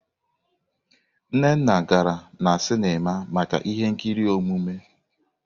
Nnanna gara na sinima maka ihe nkiri omume.